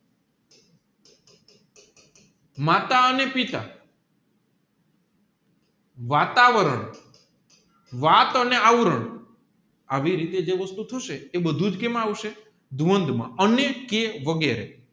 માતા અને પિતા વાતાવરણ વાત અને આવરણ રવિ રીતે જે વસ્તુ થશે એ બધુજ કેઆ આવશે દ્વંધ માં અને કેઃ વગેરે